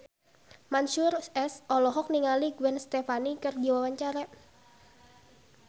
Mansyur S olohok ningali Gwen Stefani keur diwawancara